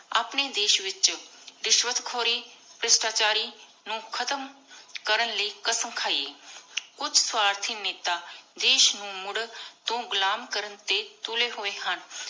ਅਪਨੀ ਦੇਸ਼ ਵਿਚੋ ਰਿਸ਼ਵਤ ਖੋਰੀ ਭ੍ਰਿਸ਼ਟਾ ਚਾਰੀ ਨੂ ਖਤਮ ਕਰਨ ਲਾਏ ਕ਼ਾਸਮ ਖਾਏ ਕੁਛ ਸਵਾਰਤੀ ਨੇਤਾ ਦੇਸ਼ ਨੂ ਮੁਰ ਤੂ ਘੁਲਮ ਕਰਨ ਟੀ ਤੁਲੀ ਹੋਏ ਹਨ